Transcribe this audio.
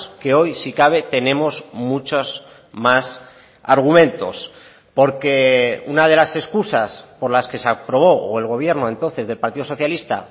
que hoy si cabe tenemos muchos más argumentos porque una de las excusas por las que se aprobó o el gobierno entonces del partido socialista